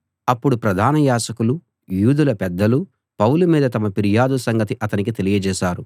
అప్పుడు ప్రధాన యాజకులూ యూదుల పెద్దలూ పౌలు మీద తమ ఫిర్యాదు సంగతి అతనికి తెలియజేశారు